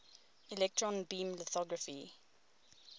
electron beam lithography